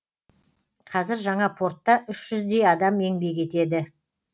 қазір жаңа портта үш жүздей адам еңбек етеді